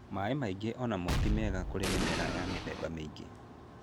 Maaĩ maingi o namo ti mega kuri mimera ya mithemba miingi.